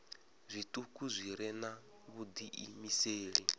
zwituku zwi re na vhudiimeseli